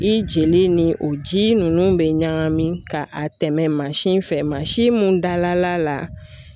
I jeli ni o ji nunnu bɛ ɲagami ka a tɛmɛ mansin fɛ mansin mun dala la